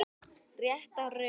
Rétta röðin.